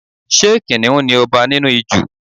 Ṣé kìnnìún ni ọba ní Ijù?